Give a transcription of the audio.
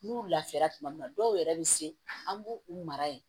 N'u lafiyara tuma min na dɔw yɛrɛ bɛ se an b'u u mara yen